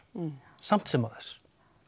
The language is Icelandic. samt sem áður